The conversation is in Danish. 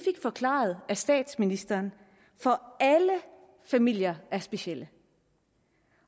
forklaret af statsministeren for alle familier er specielle